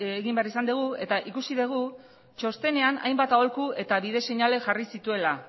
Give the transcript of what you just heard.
egin behar izan dugu eta ikusi dugu txostenean hainbat aholku eta bide seinale jarri zituela